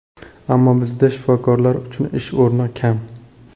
Ammo bizda shifokorlar uchun ish o‘rni kam.